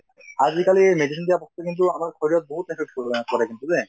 আজি কালি এই medicine দিয়া বস্তু কিন্তু আমাৰ শৰীৰত বহুত affect কৰে কিন্তু দে